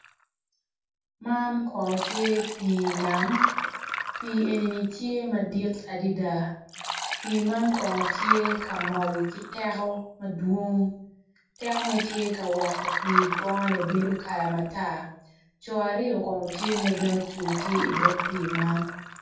Man kono tye pi nam pi enini tye madit adada pi man kono tye ka mol kiteko madwong, tekone tye ka weko pi goone bedo kala matar coo aryo bene tye magin ocung ki dog pi man.